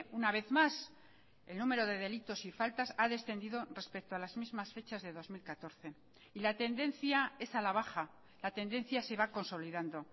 una vez más el número de delitos y faltas ha descendido respecto a las mismas fechas de dos mil catorce y la tendencia es a la baja la tendencia se va consolidando